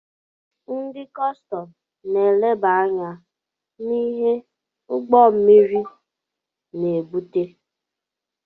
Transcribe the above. Ndị kọstọm na-eleba anya na-ihe ụgbọ mmiri na-ebubata.